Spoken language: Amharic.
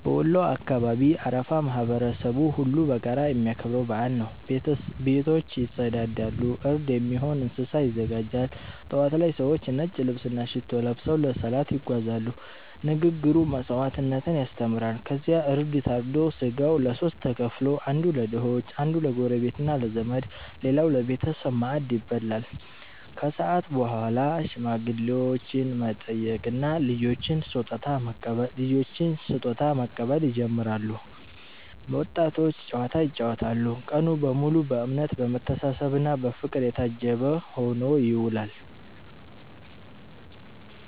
በወሎ አካባቢ አረፋ ማህበረሰቡ ሁሉ በጋራ የሚያከብረው በዓል ነው። ቤቶች ይጸዳሉ፣ እርድ የሚሆን እንስሳ ይዘጋጃል። ጠዋት ላይ ሰዎች ነጭ ልብስና ሽቶ ለብሰው ለሰላት ይጓዛሉ፤ ንግግሩ መስዋዕትነትን ያስተምራል። ከዚያ እርድ ታርዶ ሥጋው ለሦስት ተከፍሎ፦ አንዱ ለድሆች፣ አንዱ ለጎረቤትና ለዘመድ፣ ሌላው ለቤተሰብ ማዕድ ይበላል። ከሰዓት በኋላ ሽማግሌዎችን መጠየቅና ልጆች ስጦታ መቀበል ይጀምራል፤ ወጣቶች ጨዋታ ይጫወታሉ። ቀኑ በሙሉ በእምነት፣ በመተሳሰብና በፍቅር የታጀበ ሆኖ ይውላል።